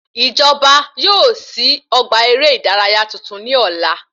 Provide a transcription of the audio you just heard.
Ìjọba yóò sí ọgbà eré ìdárayá tuntun ní ọ̀la